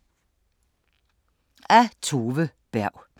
Af Tove Berg